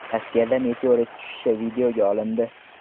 Rossiyada meteorit tushishi videoga olindi .